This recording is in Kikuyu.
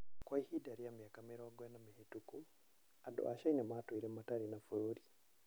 Kwa ihinda rĩa mĩaka mĩrongo ĩna mĩhĩtũku, andũ a Caina matũire matarĩ na bũrũri.